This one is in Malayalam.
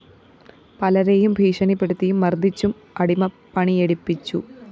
പലരെയും ഭീഷണിപ്പെടുത്തിയും മര്‍ദ്ദിച്ചും അടിമപ്പണിയെടുപ്പിച്ചു